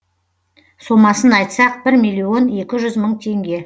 сомасын айтсақ бір миллион екі жүз мың теңге